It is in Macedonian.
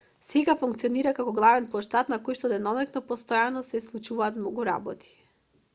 сега функционира како главен плоштад на којшто деноноќно постојано се случуваат многу работи